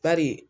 Bari